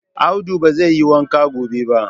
Audu ba zai yi wanka gobe ba